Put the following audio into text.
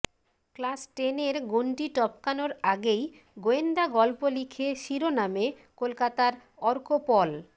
class টেনের গণ্ডি টপকানোর আগেই গোয়েন্দা গল্প লিখে শিরোনামে কলকাতার অর্কপল